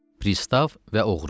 Prisstav və oğru.